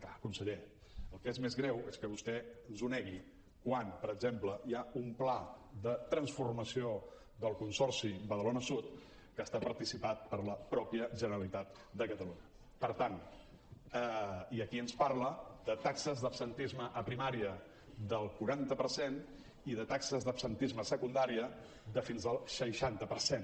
clar conseller el que és més greu és que vostè ens ho negui quan per exemple hi ha un pla de transformació del consorci badalona sud que està participat per la mateixa generalitat de catalunya i aquí ens parla de taxes d’absentisme a primària del quaranta per cent i de taxes d’absentisme a secundària de fins al seixanta per cent